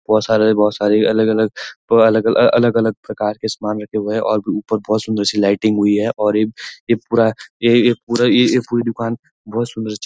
बहुत सारा बहुत सारी अलग-अलग थोड़ा अलग-अलग प्रकार के समान रखे हुए है और ऊपर बहुत सुन्दर से लाइटिंग हुई है और ये ये पूरा ये ये ये पूरा दुकान बहुत सुन्दर --